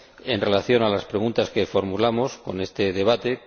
en relación con las preguntas que formulamos en este debate.